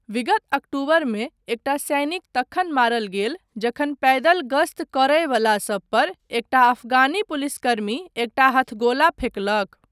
विगत अक्टूबरमे एकटा सैनिक तखन मारल गेल जखन पैदल गस्त करय बला सब पर एकटा अफगानी पुलिसकर्मी एकटा हथगोला फेकलक।